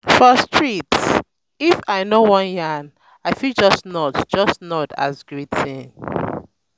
for street if i no wan yarn i fit just nod just nod as greeting. um